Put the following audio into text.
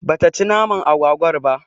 Bata ci naman agwagwar ba